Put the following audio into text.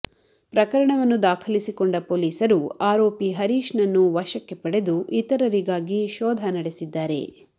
ಪ್ರಕರಣವನ್ನು ದಾಖಲಿಸಿಕೊಂಡ ಪೊಲೀಸರು ಆರೋಪಿ ಹರೀಶ್ನನ್ನು ವಶಕ್ಕೆ ಪಡೆದು ಇತರರಿಗಾಗಿ ಶೋಧ ನಡೆಸಿದ್ದಾರೆ